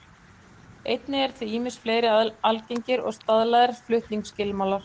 Einnig eru til ýmsir fleiri algengir og staðlaðir flutningsskilmálar.